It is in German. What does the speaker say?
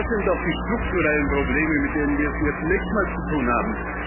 Das sind doch die strukturellen Probleme, mit denen wir es hier zunächst mal zu tun haben.